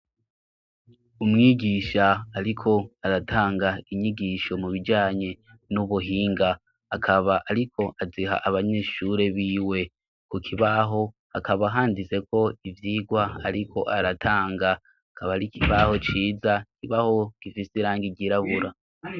Umwigisha ariko aratanga inyigisho mu bijyanye n'ubuhinga akaba ariko aziha abanyeshure b'iwe ku kibaho akaba handise ko ibyigwa ariko aratanga kaba ari kibaho ciza kibaho gifise rangi igirabura.